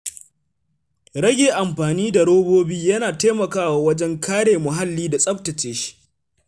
Rage amfani da robobi yana taimakawa wajen kare muhalli da tsaftace shi.